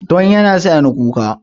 Don yana sa ni kuka